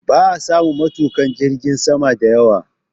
Ba a samun matuƙa jirgin sama da yawa